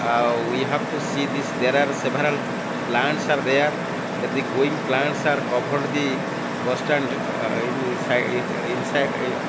uh we have to see this there are several plants are there that the going plants are covered the bus stand uhh in si insi ah--